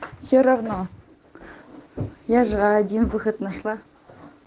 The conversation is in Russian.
все равно я же один выход нашла